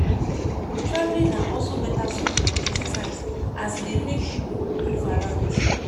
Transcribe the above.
Travelling na also better source of exercise, as e dey make pipo move around